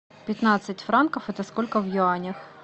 пятнадцать франков это сколько в юанях